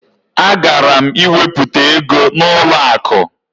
Agara m iwepụta ego n'ụlọakụ